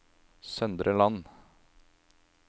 Søndre Land